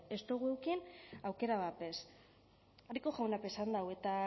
ez dugu eduki aukera bat bez rico jaunak be esan du eta